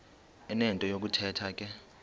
enento yokuthetha ke